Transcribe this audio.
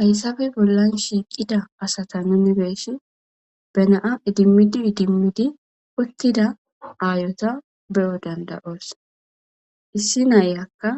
hayssafe bollan shiiqida asata nunibeesi benaa idimmidi idimmidi uttida aayota be7o dandayoos issi nayakka